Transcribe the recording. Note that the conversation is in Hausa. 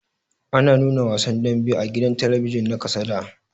Ana nuna wasan daɓe a gidan talabijin na ƙasa da.